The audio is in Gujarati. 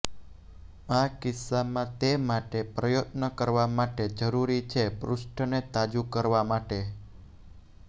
આ કિસ્સામાં તે માટે પ્રયત્ન કરવા માટે જરૂરી છે પૃષ્ઠને તાજું કરવા માટે